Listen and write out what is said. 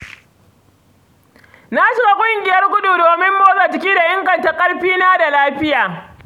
Na shiga ƙungiyar gudu domin motsa jiki da inganta ƙarfina da lafiyata.